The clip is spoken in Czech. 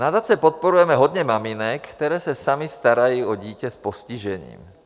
Nadace podporuje hodně maminek, které se samy starají o dítě s postižením.